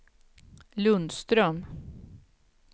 Lundström